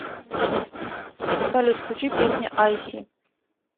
салют включи песня айси